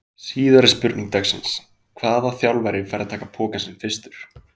Síðari spurning dagsins: Hvaða þjálfari fær að taka pokann sinn fyrstur?